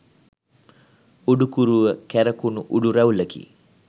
උඩුකුරුව කැරකුණු උඩු රැවුළකි.